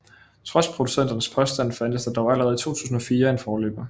Trods producenternes påstand fandtes der dog allerede i 2004 en forløber